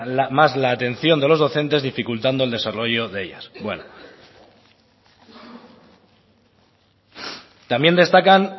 más la atención de los docentes dificultando el desarrollo de ellas bueno también destacan